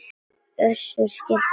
Össur skellti sér á lær.